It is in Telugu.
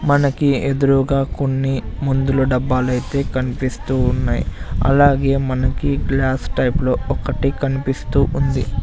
మనకి ఎదురుగా కొన్ని మొందుల డబ్బాలైతే కన్పిస్తూ ఉన్నాయ్ అలాగే మనకి గ్లాస్ టైప్ లో ఒకటి కనిపిస్తూ ఉంది.